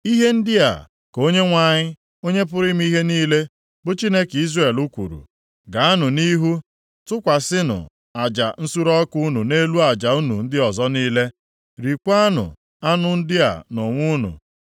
“ ‘Ihe ndị a ka Onyenwe anyị, Onye pụrụ ime ihe niile, bụ Chineke Izrel kwuru, Gaanụ nʼihu, tụkwasịnụ aja nsure ọkụ unu nʼelu aja unu ndị ọzọ niile. Riekwanụ anụ ndị a nʼonwe unu.